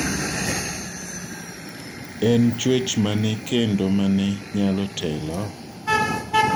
En chwech mane kendo mane nyalo telo?